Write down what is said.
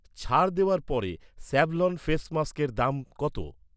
ছাড় দেওয়ার পরে স্যাাভ্লন ফেস মাস্কের কত দাম?